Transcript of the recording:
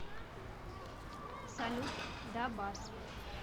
салют да базз